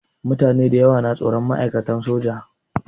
Mutane dayawa na tsoron ma'aikatan soja.